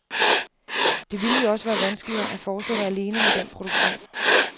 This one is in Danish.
Det ville jo også være vanskeligere at fortsætte alene med den produktion.